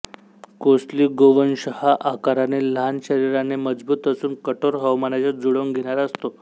कोसली गोवंश हा आकाराने लहान शरीराने मजबूत असून कठोर हवामानाशी जुळवून घेणारा असतो